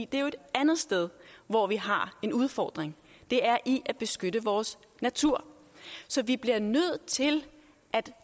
det er jo et andet sted hvor vi har en udfordring det er i at beskytte vores natur så vi bliver nødt til at